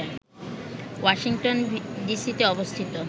Washington ডিসিতে অবস্থিত